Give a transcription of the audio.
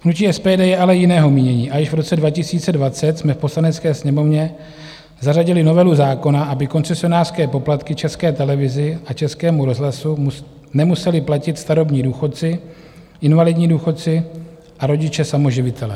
Hnutí SPD je ale jiného mínění a již v roce 2020 jsme v Poslanecké sněmovně zařadili novelu zákona, aby koncesionářské poplatky České televizi a Českému rozhlasu nemuseli platit starobní důchodci, invalidní důchodci a rodiče samoživitelé.